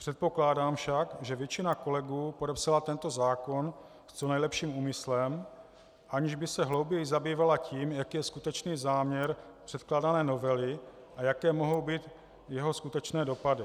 Předpokládám však, že většina kolegů podepsala tento zákon s co nejlepším úmyslem, aniž by se hlouběji zabývala tím, jaký je skutečný záměr předkládané novely a jaké mohou být jeho skutečné dopady.